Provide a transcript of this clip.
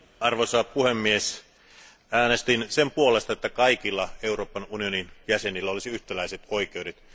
Arvoisa puhemies, äänestin sen puolesta, että kaikilla Euroopan unionin jäsenillä olisi yhtäläiset oikeudet.